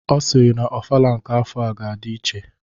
Ọ sịrị na ofala nke afọa ga-adi iche,